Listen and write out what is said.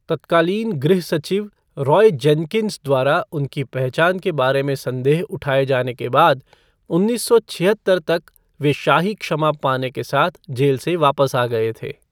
तत्कालीन गृह सचिव रॉय जेनकिंस द्वारा उनकी पहचान के बारे में संदेह उठाए जाने के बाद उन्नीस सौ छिहत्तर तक वे शाही क्षमा पाने के साथ जेल से वापस आ गए थे।